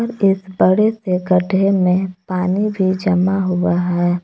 इस बड़े से गड्ढे में पानी भी जमा हुआ है।